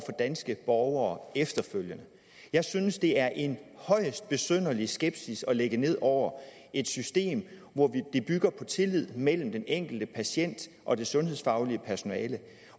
danske borgere efterfølgende jeg synes det er en højst besynderlig skepsis at lægge ned over et system der bygger på tillid mellem den enkelte patient og det sundhedsfaglige personale